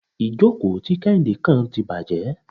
Ìjókò tí Kéhìndé kàn tí bàjé.